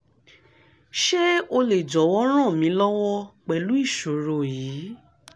ṣe o le jọwọ ran mi lọwọ pẹlu iṣoro yii